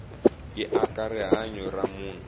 yi aka rihanyu ra munhu